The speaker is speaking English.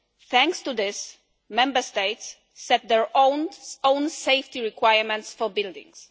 Thanks to this, Member States set their own safety requirements for buildings.